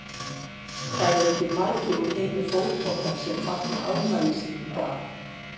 Það eru ekki margir úr heimi fótboltans sem fagna afmælinu sínu í dag.